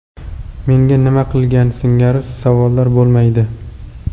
Menga nima qilgan?” singari savollar bo‘lmaydi.